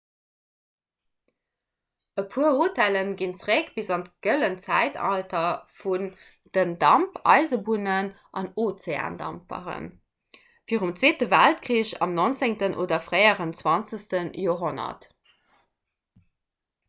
e puer hotellen ginn zeréck bis an d'gëllent zäitalter vun den dampeisebunnen an ozeandampferen virum zweete weltkrich am 19 oder fréien 20 joerhonnert